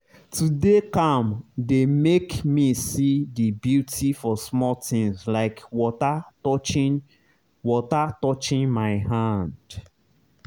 to dey calm dey make me see the beauty for small things like water touching water touching my hand.